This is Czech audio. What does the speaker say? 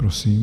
Prosím.